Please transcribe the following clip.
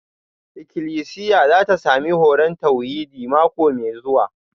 Ikilisiya za ta sami horon tauhidi mako mai zuwa